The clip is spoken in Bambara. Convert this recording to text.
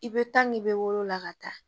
I bɛ tan nin bɛ woro la ka taa